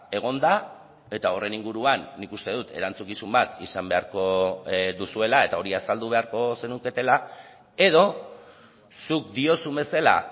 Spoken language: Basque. egon da eta horren inguruan nik uste dut erantzukizun bat izan beharko duzuela eta hori azaldu beharko zenuketela edo zuk diozun bezala